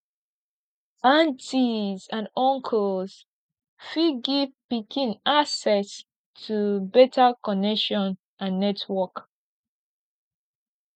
aunties and uncles fit give pikin access to better connection and network